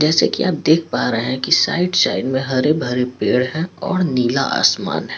जैसे की आप देख पा रहे हैं की साइड साइड में हरे भरे पेड़ हैं और नीला आसमान हैं।